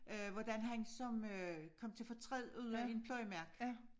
Øh hvordan han som øh kom til fortræd ude i en pløjemark